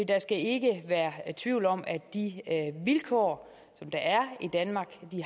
der skal ikke være tvivl om at de vilkår der er i danmark